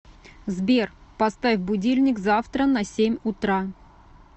сбер поставь будильник завтра на семь утра